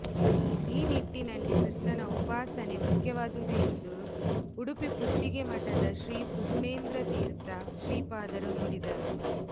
ಈ ನಿಟ್ಟಿನಲ್ಲಿ ಕೃಷ್ಣನ ಉಪಾಸನೆ ಮುಖ್ಯವಾದುದು ಎಂದು ಉಡುಪಿ ಪುತ್ತಿಗೆ ಮಠದ ಶ್ರೀ ಸುಗುಣೇಂದ್ರತೀರ್ಥ ಶ್ರೀಪಾದರು ನುಡಿದರು